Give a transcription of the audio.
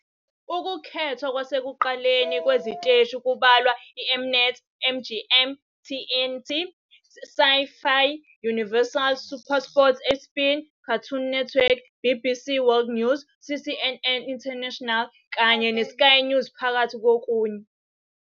Ukukhethwa kwasekuqaleni kweziteshi kubalwa iM-Net, MGM, TNT, Sci-Fi Universal, SuperSport, ESPN, Cartoon Network, BBC World News, CNN International kanye neSky News phakathi kokunye.